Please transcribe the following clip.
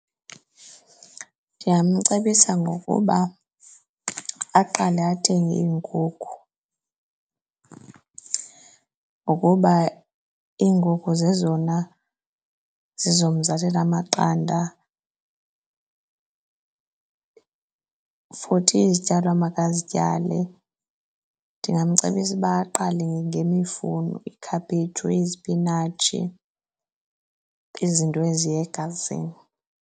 Ndingamcebisa ngokuba aqale athenge iinkukhu ngokuba iinkukhu zezona zizomzalela amaqanda. Futhi izityalo amakazityale, ndingamcebisa ukuba aqale ngemifuno, ikhaphetshu, izipinatshi, izinto eziya egazini.